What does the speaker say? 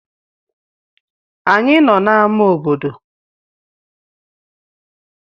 Anyị nọ n'ámá obodo.